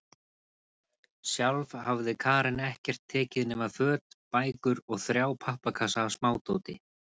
Sjálf hafði Karen ekkert tekið nema föt, bækur og þrjá pappakassa af smádóti.